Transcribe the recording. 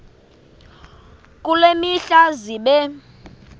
kule mihla zibe